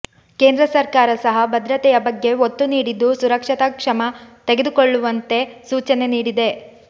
ಕೇಂದ್ರ ಸರ್ಕಾರ ಸಹ ಭದ್ರತೆಯ ಬಗ್ಗೆ ಒತ್ತು ನೀಡಿದ್ದು ಸುರಕ್ಷತಾ ಕ್ಷಮ ತೆಗೆದುಕೊಳ್ಳುವಂತೆ ಸೂಚನೆ ನೀಡಿದೆ